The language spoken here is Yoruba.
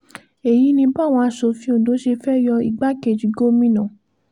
èyí ni báwọn asòfin ondo ṣe fẹ́ẹ́ yọ igbákejì gómìnà